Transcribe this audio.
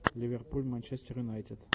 ливерпуль манчестер юнайтед